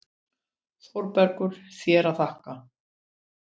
ÞÓRBERGUR: Þér að þakka!